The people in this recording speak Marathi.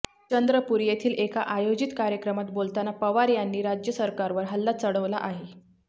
चंद्रपूर येथील एका आयोजित कार्यक्रमात बोलताना पवार यांनी राज्य सरकारवर हल्ला चढवला आहे